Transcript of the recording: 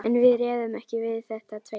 En við réðum ekki við þetta tveir.